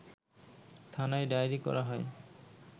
থানায় ডায়েরি করা হয়